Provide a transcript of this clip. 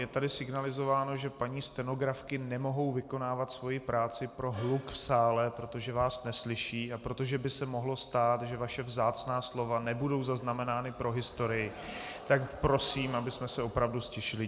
Je tady signalizováno, že paní stenografky nemohou vykonávat svoji práci pro hluk v sále, protože vás neslyší a protože by se mohlo stát, že vaše vzácná slova nebudou zaznamenána pro historii, tak prosím, abychom se opravdu ztišili.